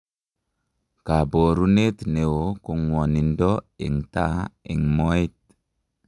Kaboruneet neoo ko ng'wonindo eng' taa eng' mooet